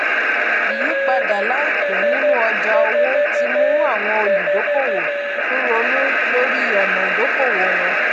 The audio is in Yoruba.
ìyípadà laipẹ nínú ọjà òwò ti mú àwọn olùdókòwò tún ronú lórí ọnà ìdókòwò wọn